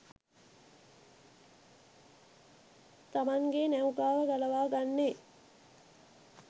තමන්ගේ නෞකාව ගලවා ගන්නේ?